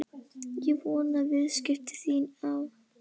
Ég vona að viðskipti þín á